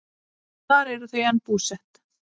Þar eru þau enn búsett.